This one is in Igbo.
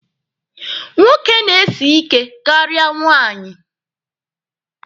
Nwoke na-esi ike karịa nwaanyị.